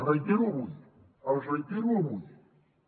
els reitero avui els reitero avui